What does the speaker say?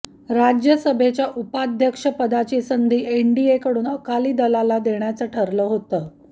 राज्यसभेच्या उपाध्यक्षपदाची संधी एनडीएकडून अकाली दलाला देण्याचं ठरलं होतं